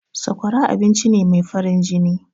Sakwara abincine mai farin jini.